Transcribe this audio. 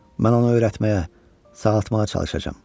Mən onu öyrətməyə, sağaltmağa çalışacam.